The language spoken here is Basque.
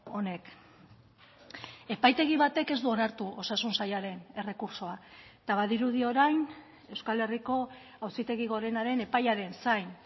honek epaitegi batek ez du onartu osasun sailaren errekurtsoa eta badirudi orain euskal herriko auzitegi gorenaren epaiaren zain